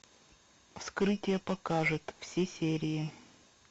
вскрытие покажет все серии